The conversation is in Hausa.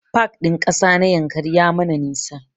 Pak ɗin ƙasa na Yankari ya mana nisa